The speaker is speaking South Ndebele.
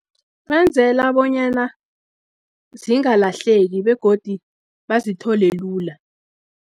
Benzela bonyana zingalahleki begodi bazithole lula.